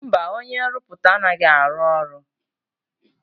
Mba, onye nrụpụta anaghị arụ ọrụ.